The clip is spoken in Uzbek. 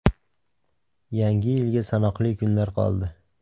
Yangi Yilga sanoqli kunlar qoldi.